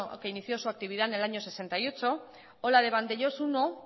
que inició su actividad en el año sesenta y ocho o la de vandellós primero